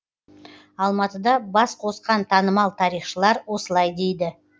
алматыда бас қосқан танымал тарихшылар осылай дейді